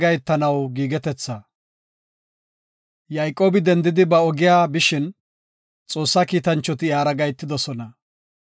Yayqoobi dendidi ba ogiya bishin Xoossa kiitanchoti iyara gahetidosona.